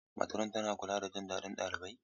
Matron tana kula da jin daɗin ɗalibai.